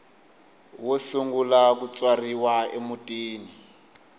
wo sungula ku tswariwa emutini